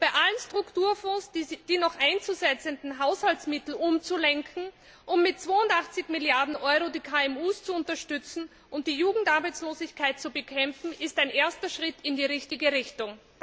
Bei allen Strukturfonds die noch einzusetzenden Haushaltsmittel umzulenken, um mit zweiundachtzig Milliarden Euro die KMU zu unterstützen und die Jugendarbeitslosigkeit zu bekämpfen, ist ein erster Schritt in die richtige Richtung.